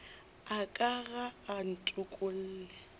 a ka ga a ntokolle